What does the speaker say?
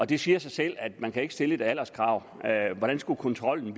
det siger sig selv at man ikke kan stille et alderskrav hvordan skulle kontrollen